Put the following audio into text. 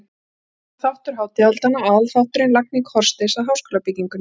Þar hófst annar þáttur hátíðahaldanna- aðalþátturinn- lagning hornsteins að háskólabyggingunni.